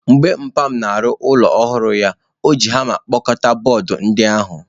Mgbe mpa m na-arụ ụlọ ọhụrụ anyị, o ji hama kpọkọta bọọdụ ndi ahu.